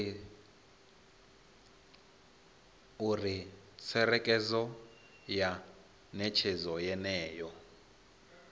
uri tserekano ya netshedzo yeneyo